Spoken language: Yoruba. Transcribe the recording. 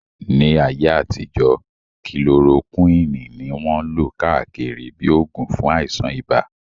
Ní ayé àtijọ́, kilorokíwìn ní wọ́n lò káàkiri bíi oògùn fún àìsàn ibà